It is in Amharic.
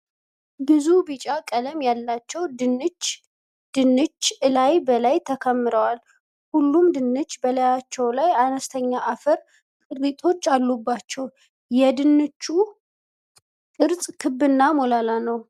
ብዙ ቢጫ ቀለም ያላቸው ድንች ድንች እላይ በላይ ተከምረዋል። ሁሉም ድንች በላያቸው ላይ አነስተኛ አፈር ቅሪቶች አሏቸአለባቸው። የድንቹ ቅርፅ ክብና ሞላላ ነው።